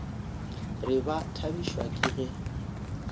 re ba thabišwa ke ge